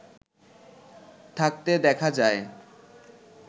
থাকতে দেখা যায়